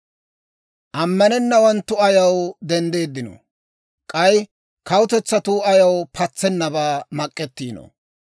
Amanenawanttu ayaw denddiinoo? K'ay kawutetsatuu ayaw patsennabaa mak'ettiinoo?